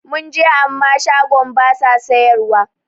Mun je amma shagon basa sayar wa